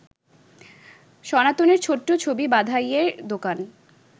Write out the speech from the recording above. সনাতনের ছোট্ট ছবি-বাঁধাইয়ের দোকান